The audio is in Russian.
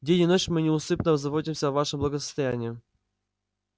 день и ночь мы неусыпно заботимся о вашем благосостоянии